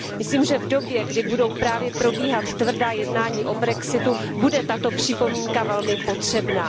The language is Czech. Myslím, že v době, kdy budou právě probíhat tvrdá jednání o brexitu, bude tato připomínka velmi potřebná.